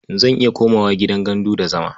Zan iya komawa gidan gandu da zama.